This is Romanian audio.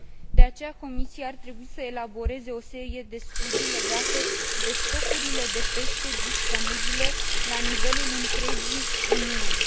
De aceea, Comisia ar trebui să elaboreze o serie de studii legate de stocurile de pește disponibile la nivelul întregii Uniuni.